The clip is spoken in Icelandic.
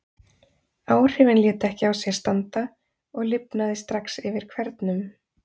Áhrifin létu ekki á sér standa, og lifnaði strax yfir hvernum.